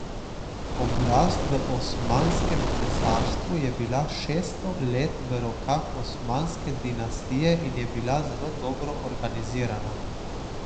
Oblast v Osmanskem cesarstvu je bila šeststo let v rokah osmanske dinastije in je bila zelo dobro organizirana.